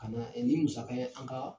Kana nin musaka ye an kaa